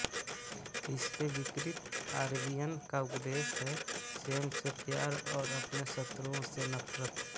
इसके विपरीत आरबीएन का उपदेश है स्वयं से प्यार और अपने शत्रुओं से नफरत